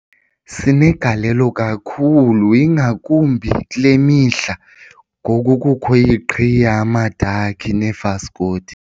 Sinegalelo kakhulu ingakumbi kule mihla ngoku kukho iqhiya amadakhi neefaskoti.